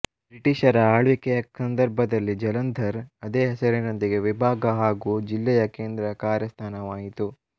ಬ್ರಿಟಿಷರ ಆಳ್ವಿಕೆಯ ಸಂದರ್ಭದಲ್ಲಿ ಜಲಂಧರ್ ಅದೇ ಹೆಸರಿನೊಂದಿಗೆ ವಿಭಾಗ ಹಾಗು ಜಿಲ್ಲೆಯ ಕೇಂದ್ರ ಕಾರ್ಯ ಸ್ಥಾನವಾಯಿತು